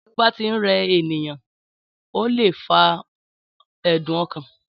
Tí o bá tí ń re ènìyàn ọ le fa ẹ̀dùn ọkàn